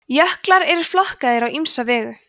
jöklar eru flokkaðir á ýmsa vegu